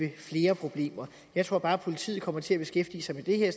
flere problemer jeg tror bare at politiet kommer til at beskæftige sig med det her i